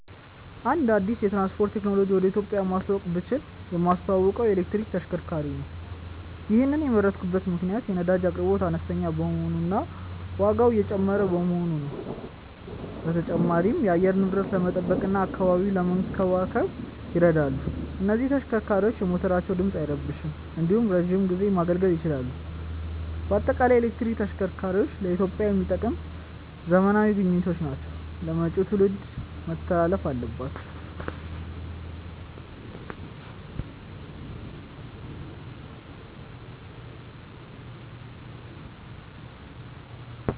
አንድ አዲስ የትራንስፖርት ቴክኖሎጂን ወደ ኢትዮጵያ ማስተዋወቅ ብችል የማስተዋውቀው የኤሌክትሪክ ተሽከርካሪዎችን ነው። ይሔንን የመረጥኩበት ምክንያት የነዳጅ አቅርቦት አነስተኛ በመሆኑ እና ዋጋው እየጨመረ በመሆኑ ነው። በተጨማሪም የአየር ንብረትን ለመጠበቅ እና አካባቢን ለመንከባከብ ይረዳሉ። እነዚህ ተሽከርካሪዎች የሞተራቸው ድምፅ አይረብሽም እንዲሁም ለረዥም ጊዜ ማገልገል ይችላሉ። በአጠቃላይ የኤሌክትሪክ ተሽከርካሪዎች ለኢትዮጵያ የሚጠቅሙ ዘመናዊ ግኝቶች ናቸው ለመጪው ትውልድ መተላለፍም አለባቸው።